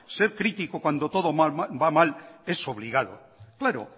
sed crítico cuando todo va mal es obligado claro